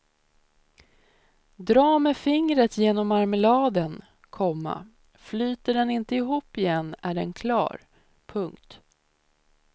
Dra med fingret genom marmeladen, komma flyter den inte ihop igen är den klar. punkt